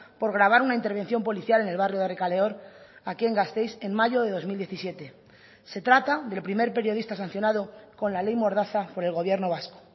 por grabar una intervención policial en el barrio de errekaleor aquí en gasteiz en mayo de dos mil diecisiete se trata del primer periodista sancionado con la ley mordaza por el gobierno vasco